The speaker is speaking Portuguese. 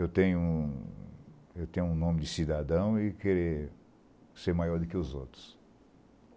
Eu tenho um eu tenho um nome de cidadão e querer ser maior do que os outros.